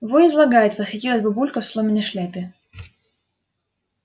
во излагает восхитилась бабулька в соломенной шляпе